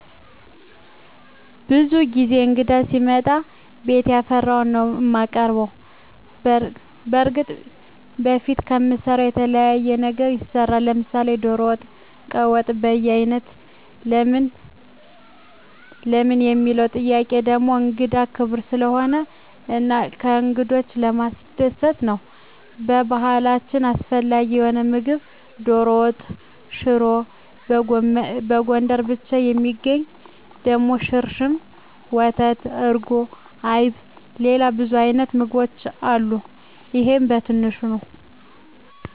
ብዙ ጊዜ እንግዳ ሲመጣ ቤት ያፈራዉን ነዉ እማቀርብ። በርግጥ በፊት ከምንሰራዉ የተለየ ነገር ይሰራል፤ ለምሳሌ ዶሮ ወጥ፣ ቀይ ወጥ፣ በያይነት ለምን ለሚለዉ ጥያቄ ደሞ እንግዳ ክቡር ስለሆነ እና እንግዶችን ለማስደሰት ነዉ። በባህላችን አስፈላጊ የሆነዉ ምግብ ዶሮ ወጥ፣ ሽሮ፣ በጎንደር ብቻ እሚገኝ ደሞ ሽርሽም፣ ወተት፣ እርጎ፣ አይብ፣ ሌላ ብዙ አይነት ምግቦች አሉ ይሄ በትንሹ ነዉ።